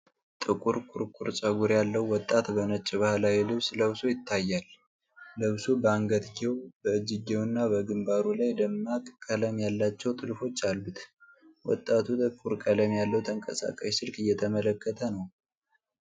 ጥቁር ኩርኩር ፀጉር ያለው ወጣት በነጭ ባህላዊ ልብስ ለብሶ ይታያል። ልብሱ በአንገትጌው፣ በእጅጌውና በግንባሩ ላይ ደማቅ ቀለም ያላቸው ጥልፎች አሉት። ወጣቱ ጥቁር ቀለም ያለው ተንቀሳቃሽ ስልክ እየተመለከተ ነው።